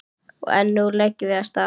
En nú leggjum við af stað!